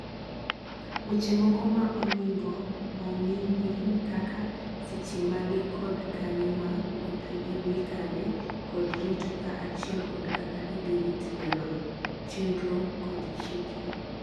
weche moko ma oningo ongi gin kaka, seche mage kod kanye ma kothe ithi kane kod rito kaa achiel kod kaka idhirit dero no (chendro kod chike)